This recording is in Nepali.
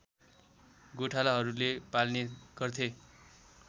गोठालाहरूले पाल्ने गर्थे